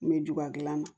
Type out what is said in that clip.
N bɛ ju gilan na